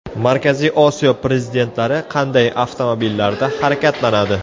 Markaziy Osiyo prezidentlari qanday avtomobillarda harakatlanadi?